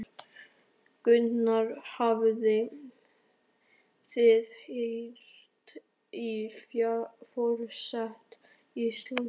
Gunnar: Hafið þið heyrt í forseta Íslands?